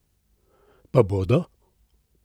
Pa bodo?